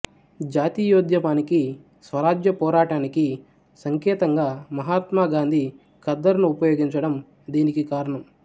జాతీయోద్యమానికి స్వరాజ్య పోరాటానికి సంకేతంగా మహాత్మా గాంధీ ఖద్దరును ఉపయోగించడం దీనికి కారణం